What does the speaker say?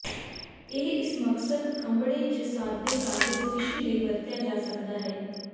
ਇਹ ਇਸ ਮਕਸਦ ਖੰਭੜੇ ਜ ਸਾਦੇ ਕਾਗਜ਼ ਟਿਸ਼ੂ ਲਈ ਵਰਤਿਆ ਜਾ ਸਕਦਾ ਹੈ